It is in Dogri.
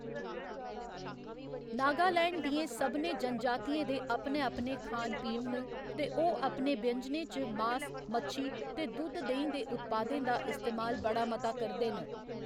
नागालैंड दियें सभनें जनजातियें दे अपने अपने खान पीन न, ते ओह्‌‌ अपने व्यंजनें च मास, मच्छी ते दुद्‌ध देहीं दे उत्पादें दा इस्तेमाल बड़ा मता करदे न।